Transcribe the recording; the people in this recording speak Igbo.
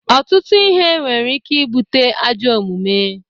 Ọtụtụ ihe nwere ike ibute ajọ omume.